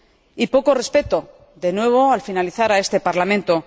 Y poco respeto, de nuevo, al finalizar, a este Parlamento.